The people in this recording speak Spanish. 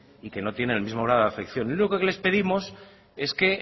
y que no tienen el mismo grado de afección lo único que les pedimos es que